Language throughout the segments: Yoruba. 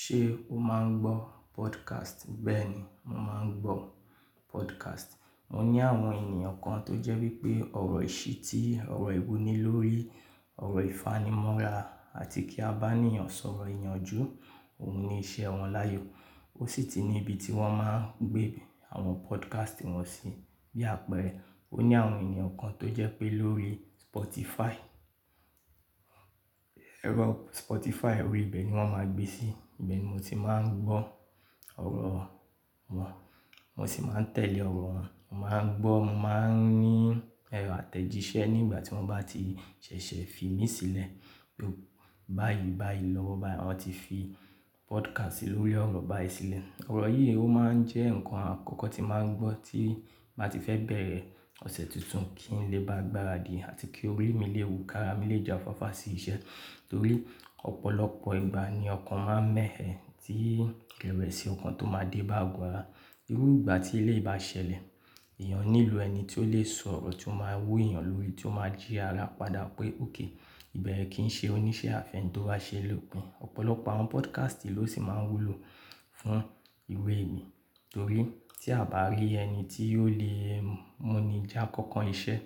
Ṣé o máa ń gbọ́ podcast? Bẹ́ẹ̀ ni, mo máa ń gbọ́ podcast. Mo ní àwọn ènìyàn kan tó jẹ́ wípé ọ̀rọ̀ ìṣítí, ọ̀rọ̀ ìwuní lórí ọ̀rọ̀ ìfanimọ́ra àti kí a bá ènìyàn sọ̀rọ̀ ìyanjú, òun ni iṣẹ́ wọn láàyò. Ó sì ti ní ibi tí wọ́n máa ń gbé àwọn podcast wọ́n sí. Bí àpẹẹrẹ, ó ní àwọn ènìyàn kan tó jẹ́ pé lórí Spotify, ẹ̀rọ Spotify, orí ibẹ̀ ni wọ́n máa ń gbé sí. Ìbẹ̀ ni mo ti máa ń gbọ́ ọ̀rọ̀ wọn, mo sì máa ń tẹ̀lé ọ̀rọ̀ wọn. Mo máa ń gbọ́, mo máa ń ní ẹ̀rọ àtẹ̀jíṣẹ́ nígbà tí wọ́n bá ti ṣẹ̀ṣẹ̀ fi mí sílẹ̀ pé báyìí, báyìí lọ́wọ́ báyi, wọ́n ti fi podcast lórí ọ̀rọ̀ báyi a sílẹ̀. Ọ̀rọ̀ yìí ó máa ń jẹ́ nǹkan àkọ́kọ́ tí màá ń gbọ́ tí m bàá ti fẹ́ bẹ̀rẹ̀ ọ̀sẹ̀ tuntun kí n lè bá gbáradì àti kí orí mi lè wú, ka ra mi lè ja fàfà sí iṣẹ́. Nítorí ọ̀pọ̀lọpọ̀ ìgbà ni ọkàn máa ń mẹ́ ẹ tí ìrẹ̀wẹ̀ sí ọkàn tó máa dé bá àgo ara. Irú ìgbà tí eléyí bá ṣẹlẹ̀, èèyàn nílò ẹni tí ó lè sọ̀rọ̀ tí ó máa wú èèyàn lórí, tí ó máa jí ara padà pé ok, ìbẹ̀re kí n ṣe oníṣẹ́ àfẹni tó bá ṣe lòpin. Ọ̀pọ̀lọpọ̀ àwọn podcast ló sì máa ń wúlò fún ìwé mi. Torí tí a bá rí ẹni tí óò lè mú ni já kọ́nkọ́n iṣẹ́,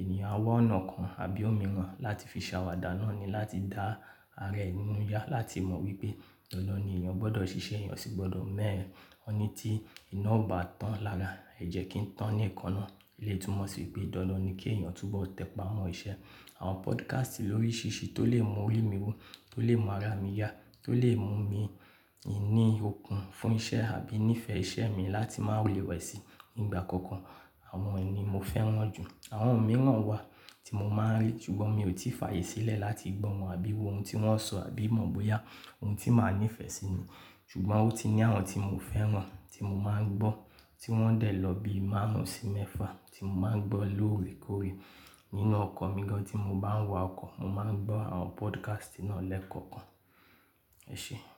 ènìyàn á wá ọ̀nà kan àbí òmíràn láti fi ṣàwàdà náà ni láti dá ara ẹ ninú yá, láti mọ̀ wípé dandan ni èèyàn gbọdọ̀ ṣiṣẹ́, èèyàn o sì gbọdọ̀ mẹ́ ẹ. Ó ní tí iná ò bá tán lára, ẹ jẹ́ kí ń tán ní ìkaná. Elé tumọ̀ sì pé dandan ni kí èèyàn túbọ̀ tẹpà mọn ṣẹ́. Àwọn podcast lóríṣìṣí tó lè mú orí mi wú, tó lè mú ara mi yá, tó lè mú mi ní okùn fún iṣẹ́ àbí ní ìfẹ́ iṣẹ́ mi láti má rẹ́wẹ̀ sí i nígbà kankan, àwọn èèyí ni mo fẹ́ran jù. Àwọn òmíràn wà tí mo máa ń rí, ṣùgbọ́n mi ò tí ì fààyè sílẹ̀ láti gbọ́ wọn àbí wo ohun tí wọ́n sọ àbí mọ̀ bóyá òun ti máa ní ìfẹ́ sí ni. Ṣùgbọ́n ó ti ní àwọn tí mo fẹ́ràn, tí mo máa ń gbọ́, tí wọ́n dẹ̀ lọ bí i márùn-ún sí mẹ́fà tí mo máa ń gbọ́ lórekóore. Nínú ọkọ̀ mi gan tí mo bá ń wa ọkọ̀, mo máa ń gbọ́ àwọn podcast náà lẹ́kọ̀ọ̀kan. Ẹ ṣé.